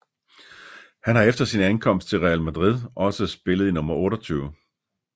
Han har efter sin ankomst til Real Madrid også spillet i nummer 28